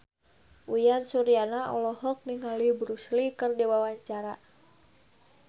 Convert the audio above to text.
Uyan Suryana olohok ningali Bruce Lee keur diwawancara